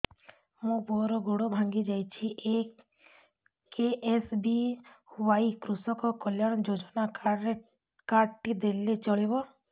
ମୋ ପୁଅର ଗୋଡ଼ ଭାଙ୍ଗି ଯାଇଛି ଏ କେ.ଏସ୍.ବି.ୱାଇ କୃଷକ କଲ୍ୟାଣ ଯୋଜନା କାର୍ଡ ଟି ଦେଲେ ଚଳିବ